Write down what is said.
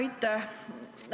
Aitäh!